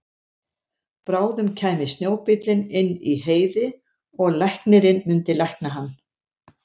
Bráðum kæmi snjóbíllinn inn í Heiði og læknirinn myndi lækna hann.